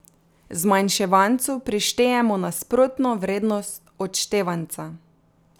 Zmanjševancu prištejemo nasprotno vrednost odštevanca.